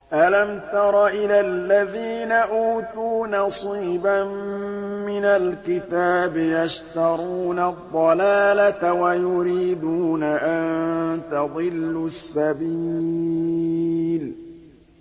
أَلَمْ تَرَ إِلَى الَّذِينَ أُوتُوا نَصِيبًا مِّنَ الْكِتَابِ يَشْتَرُونَ الضَّلَالَةَ وَيُرِيدُونَ أَن تَضِلُّوا السَّبِيلَ